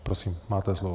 Prosím, máte slovo.